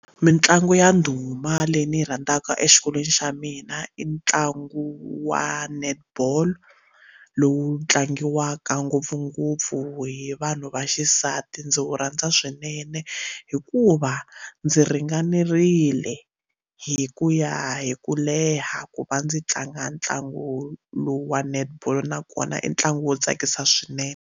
Mitlangu ya ndhuma leyi ni yi rhandzaka exikolweni xa mina i ntlangu wa netball lowu tlangiwaka ngopfungopfu hi vanhu va xisati ndzi wu rhandza swinene hikuva ndzi ringanerile hi ku ya hi ku leha ku va ndzi tlanga ntlangu lowu wa netball nakona i ntlangu wo tsakisa swinene.